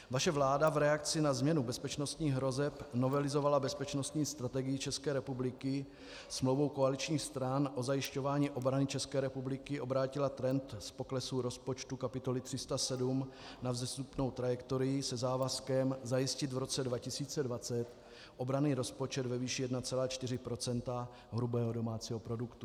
Vaše vláda v reakci na změnu bezpečnostních hrozeb novelizovala bezpečnostní strategii České republiky smlouvou koaličních stran o zajišťování obrany České republiky, obrátila trend z poklesu rozpočtu kapitoly 307 na vzestupnou trajektorii se závazkem zajistit v roce 2020 obranný rozpočet ve výši 1,4 % hrubého domácího produktu.